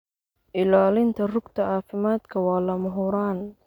Ilaalinta rugta caafimaadka waa lama huraan.